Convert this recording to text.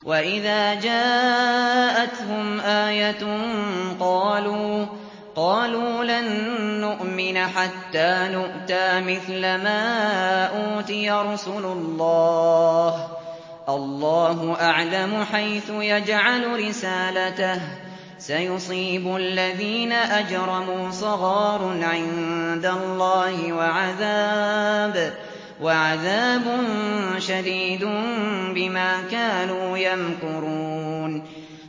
وَإِذَا جَاءَتْهُمْ آيَةٌ قَالُوا لَن نُّؤْمِنَ حَتَّىٰ نُؤْتَىٰ مِثْلَ مَا أُوتِيَ رُسُلُ اللَّهِ ۘ اللَّهُ أَعْلَمُ حَيْثُ يَجْعَلُ رِسَالَتَهُ ۗ سَيُصِيبُ الَّذِينَ أَجْرَمُوا صَغَارٌ عِندَ اللَّهِ وَعَذَابٌ شَدِيدٌ بِمَا كَانُوا يَمْكُرُونَ